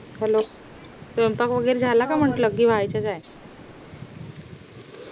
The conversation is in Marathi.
hello स्वयंपाक वैगेरे झाला का म्हंटल कि होयचाय